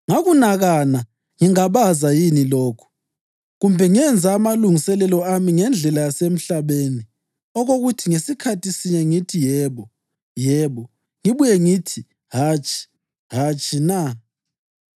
Ngakunakana ngingabaza yini lokhu? Kumbe ngenza amalungiselelo ami ngendlela yasemhlabeni okokuthi ngasikhathi sinye ngithi, “Yebo, yebo,” ngibuye ngithi, “Hatshi, hatshi,” na?